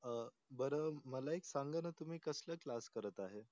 अं बरं मला एक सांगा ना तुम्ही कसले क्लास करत आहेत